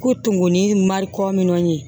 Ko tumuni mari kɔminɛ